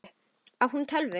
Á hún tölvu?